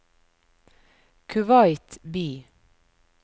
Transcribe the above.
Kuwait by